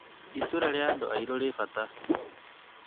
Itũra rĩa andũ airũ rĩrĩ bata